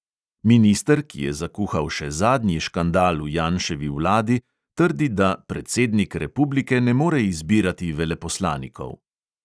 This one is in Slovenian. Minister, ki je zakuhal še zadnji škandal v janševi vladi, trdi, da "predsednik republike ne more izbirati veleposlanikov".